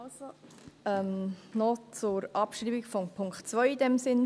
Also noch zur Abschreibung von Punkt 2 in diesem Sinn: